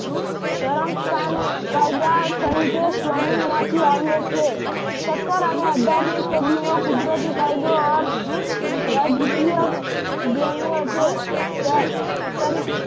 ધરમસ્થાન કાયદા તરીકે સ્વામીમાંથી આવ્યો છે. સત્તર અને અઠારમી સદી નો કુદરતી કાયદો અર્થ રાજકીય ભોમિયો છે